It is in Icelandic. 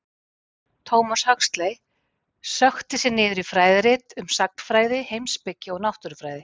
Thomas Huxley sökkti sér niður í fræðirit um sagnfræði, heimspeki og náttúrufræði.